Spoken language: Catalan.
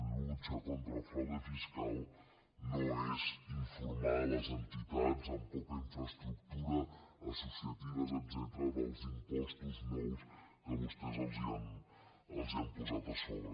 lucha contra el fraude fiscal no és informar les entitats amb poca infraestructura associatives etcètera dels impostos nous que vostès els han posat a sobre